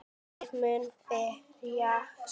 Ég mun berjast